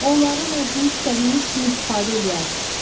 Onlardan özünüz istədiyiniz kimi istifadə eləyərsiz.